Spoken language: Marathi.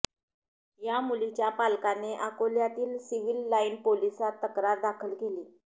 या मुलीच्या पालकाने अकोल्यातील सिव्हील लाईन पोलिसांत तक्रार दाखल केली